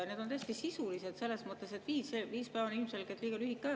Need on tõesti sisulised selles mõttes, et viis päeva on ilmselgelt liiga lühike aeg.